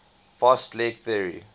fast leg theory